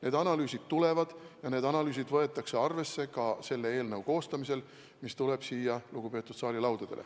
Need analüüsid tulevad ja need võetakse arvesse selle eelnõu koostamisel, mis tuleb siia lugupeetud saali teie laudadele.